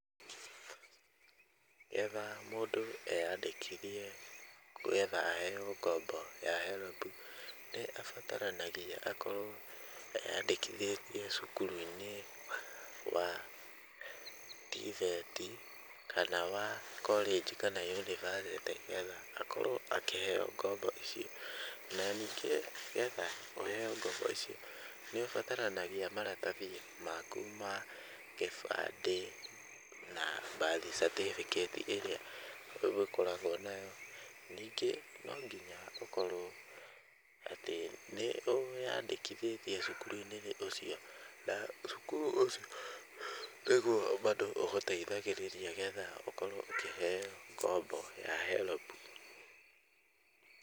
Getha mũndũ eyandĩkithie getha aheo ngombo ya HELB, nĩ arabatanagia akorwo eyandĩkithĩtie cukuru-inĩ wa TVET , kana wa korĩnji kana yunivasĩtĩ getha akorwo akĩheo ngombo ici, na ningĩ getha ũheo ngombo ici, nĩ ũbataranagia maratathi maku ma gĩbandĩ, na Birth Certificate ĩrĩa ũgĩkoragwo nayo, ningĩ no nginya ũkorwo atĩ nĩ wĩyandĩkithĩtie cukuru-inĩ ũcio, na cukuru ũcio nĩgwo bado ũgũteithagĩrĩria nĩgetha ũkorwo ũkĩheo ngombo ya HELB.